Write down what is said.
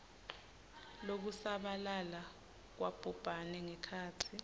lokusabalala kwabhubhane ngekhatsi